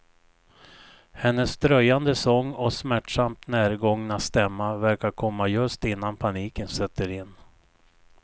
Hennes dröjande sång och smärtsamt närgångna stämma verkar komma just innan paniken sätter in.